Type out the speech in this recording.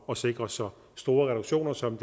og sikrer så store reduktioner som